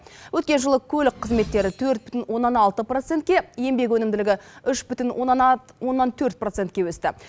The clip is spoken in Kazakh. өткен жылы көлік қызметтері төрт бүтін оннан алты процентке еңбек өнімділігі үш бүтін оннан төрт процентке өсті